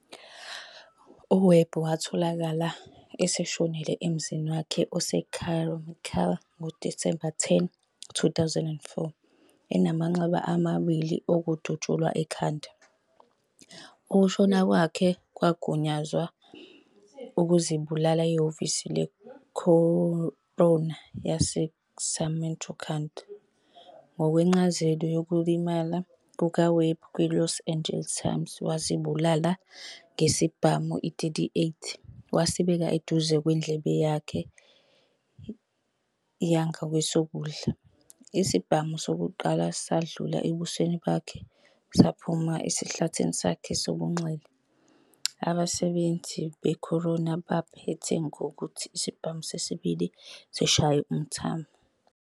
UWebb watholakala eseshonile emzini wakhe oseCarmichael ngoDisemba 10, 2004, enamanxeba amabili okudutshulwa ekhanda. Ukushona kwakhe kwagunyazwa ukuzibulala yihhovisi le-coroner yase-Sacramento County. Ngokwencazelo yokulimala kukaWebb kwiLos "Angeles Times", wazidubula ngesibhamu i-.38, wasibeka eduze kwendlebe yangakwesokudla. Isibhamu sokuqala sadlula ebusweni bakhe, saphuma esihlathini sakhe sobunxele. Abasebenzi be-coroner baphetha ngokuthi isibhamu sesibili sishaya umthambo.